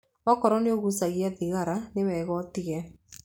Okorwo nĩ ũgucagia thigara nĩ wega ũtige.